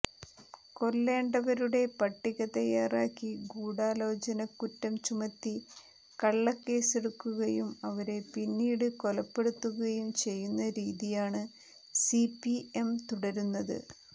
കൊല്ലേണ്ടവരുടെ പട്ടിക തയാറാക്കി ഗൂഢാലോചനക്കുറ്റം ചുമത്തി കള്ളക്കേസെടുക്കുകയും അവരെ പിന്നീട് കൊലപ്പെടുത്തുകയും ചെയ്യുന്ന രീതിയാണ് സിപിഎം തുടരുന്നത്